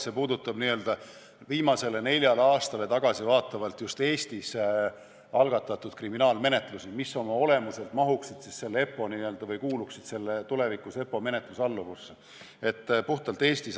See puudutab tõepoolest viimasele neljale aastale tagasivaatavalt just Eestis algatatud kriminaalmenetlusi, mis oma olemuselt kuuluksid tulevikus EPPO menetlusalluvusse, puhtalt Eestis.